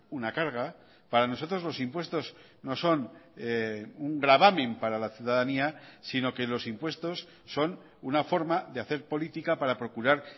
una carga para nosotros los impuestos no son un gravamen para la ciudadanía sino que los impuestos son una forma de hacer política para procurar